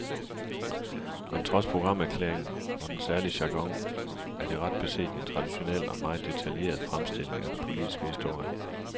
Men trods programerklæringen og den særlige jargon er det ret beset en traditionel og meget detaljeret fremstilling af den politiske historie.